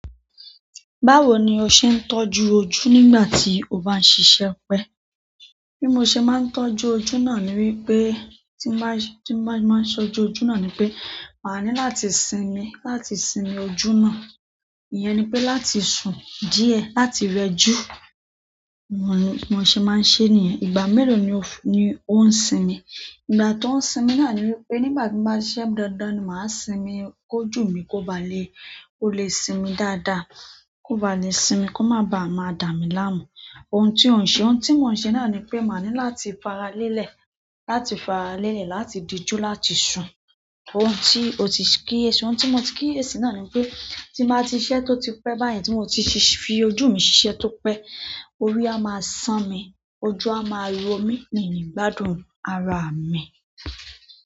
Báwo ni o ṣe ń tọ́jú ojú nígbà tí o bá ń ṣiṣẹ́ pẹ́? Bi mose maa n tọ́jú ojú náà ni wípé ti n ba ti mose maa n tọ́jú ojú na ni wípé maa ni láti sinmi láti sinmi ojú na. Iyẹn ni pé láti sùn díẹ̀, láti rẹjú, mo ní, mo ṣe máa ń ṣe nìyẹn. Ìgbà mélòó ni on sinmi? Ìgbà tó ń sinmi náà ni wípé nígbà tí n bá ṣiṣẹ́ dáadáa ni máa sinmi kó jù mí kó ba lè, ó lè sinmi dáadáa. Kó ba lè sinmi kó má ba à má dààmilaamú. Ohun tí ò ń ṣe, ohun tí mò ń ṣe náà ni pé máa ní láti faralẹ́lẹ̀, láti faralẹ́lẹ̀, láti dijú láti sùn. Ohun tí ó ti kíyèsí, ohun tí mo ti kíyèsí náà ni wípé, tí máa ti ṣiṣẹ́ tó ti pẹ́, báyìí tí mò ti ṣíṣe fi ojú mi ṣiṣẹ́ tó pẹ́, orí a máa sán mi. Ojú a maa n romi mi ni gbádùn ara mi.